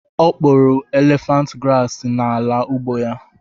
O kpopuru élèfànt grààsị n'ala ugbo ya